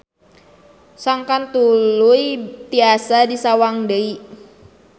Sangkan tuluy tiasa disawang deui.